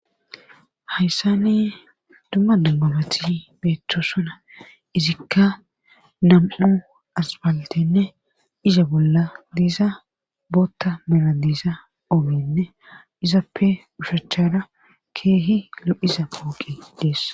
Hayssane dumma dambabati beeththoo sona izikka nam7u asbaltenne iza bolla diiza bootta meladiisa ogenne izappe ushachada keehi lo7iza pooqi deess